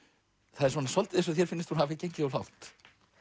það er svolítið eins og þér finnist hún hafa gengið of langt